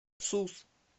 сус